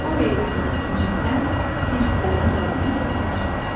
Bu heyvanları incitsən, hindlilərin qəlbinə toxunmuş olarsan.